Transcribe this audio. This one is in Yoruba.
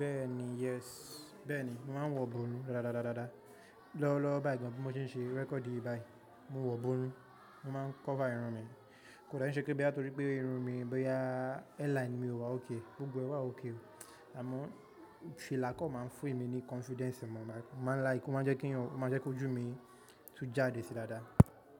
Bẹ́ẹ̀ni yes, bẹ́ẹ̀ni mò ń wọ̀ bùrú dáadáa. Lọ́wọ́lọ́wọ́ báyìí gan bí mo ṣe ń ṣe record yìí báyìí, mò ń wọ̀ bùrú, mò máa ń cover irun mi. Kò dàbí ṣe pé bí á torí pé irun mi bí a hairline mi ò wá okay, Gbogbo e wà okay. Àmọ́ filakọ̀ máa ń fún mi ní confidence mọ, máa ń la ìkún, máa jẹ́ kí ju mi tún jáde sí dáadáa.